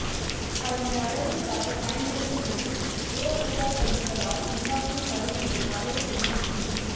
அதனை அழகிற்காக பயன்படுத்தும்போது புற ஊதாக்கதிர்களால் உண்டாகும் கருமையை மறையச் செய்துவிடும்